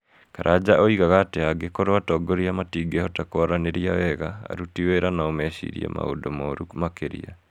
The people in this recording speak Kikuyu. Karanja oigaga atĩ angĩkorũo atongoria matingĩhota kwaranĩria wega, aruti wĩra no mecirie maũndũ moru makĩria.